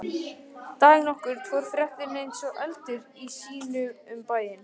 Dag nokkurn fór fréttin eins og eldur í sinu um bæinn.